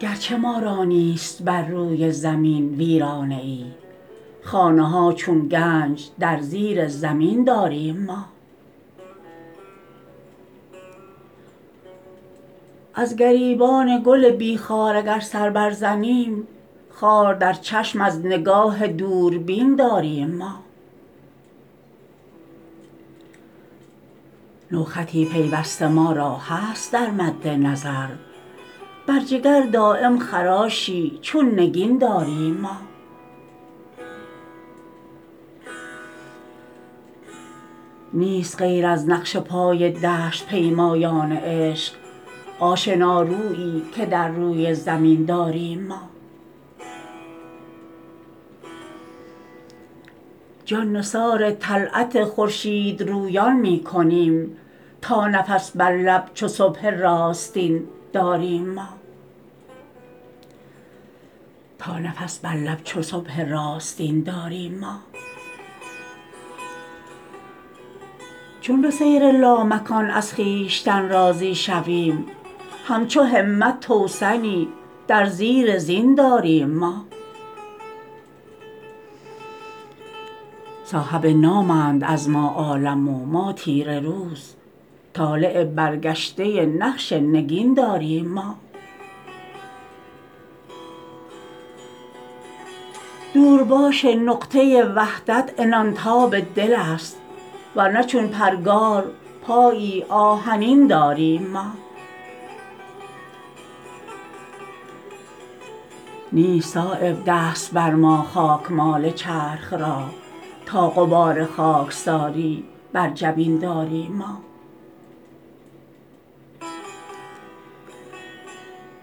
گرچه ما را نیست بر روی زمین ویرانه ای خانه ها چون گنج در زیر زمین داریم ما از گریبان گل بی خار اگر سر بر زنیم خار در چشم از نگاه دوربین داریم ما نوخطی پیوسته ما را هست در مد نظر بر جگر دایم خراشی چون نگین داریم ما نیست غیر از نقش پای دشت پیمایان عشق آشنارویی که در روی زمین داریم ما جان نثار طلعت خورشیدرویان می کنیم تا نفس بر لب چو صبح راستین داریم ما چون به سیر لامکان از خویشتن راضی شویم همچو همت توسنی در زیر زین داریم ما صاحب نامند از ما عالم و ما تیره روز طالع برگشته نقش نگین داریم ما دورباش نقطه وحدت عنان تاب دل است ورنه چون پرگار پایی آهنین داریم ما نیست صایب دست بر ما خاکمال چرخ را تا غبار خاکساری بر جبین داریم ما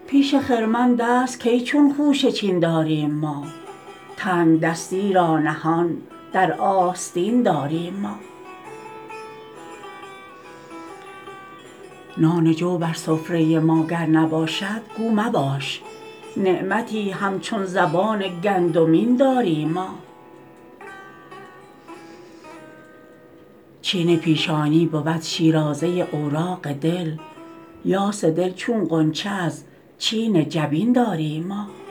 پیش خرمن دست کی چون خوشه چین داریم ما تنگدستی را نهان در آستین داریم ما نان جو بر سفره ما گر نباشد گو مباش نعمتی همچون زبان گندمین داریم ما چین پیشانی بود شیرازه اوراق دل پاس دل چون غنچه از چین جبین داریم ما